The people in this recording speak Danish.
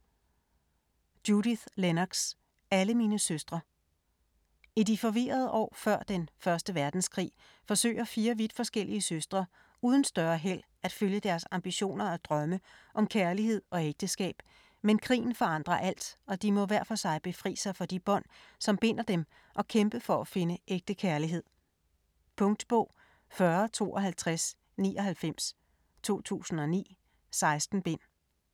Lennox, Judith: Alle mine søstre I de forvirrede år før den 1. verdenskrig forsøger fire vidt forskellige søstre uden større held at følge deres ambitioner og drømme om kærlighed og ægteskab, men krigen forandrer alt, og de må hver for sig befri sig for de bånd, som binder dem og kæmpe for at finde ægte kærlighed. Punktbog 405299 2009. 16 bind.